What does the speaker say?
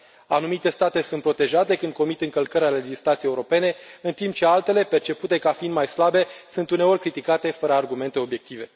Anumite state sunt protejate când comit încălcări ale legislației europene, în timp ce altele, percepute ca fiind mai slabe, sunt uneori criticate fără argumente obiective.